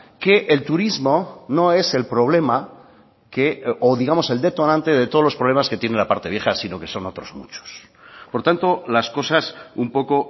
que el turismo no es el problema que o digamos el detonante de todos los problemas que tiene la parte vieja sino que son otros muchos por tanto las cosas un poco